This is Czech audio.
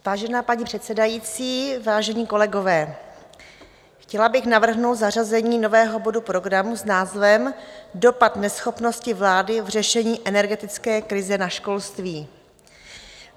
Vážená paní předsedající, vážení kolegové, chtěla bych navrhnout zařazení nového bodu programu s názvem Dopad neschopnosti vlády v řešení energetické krize na školství.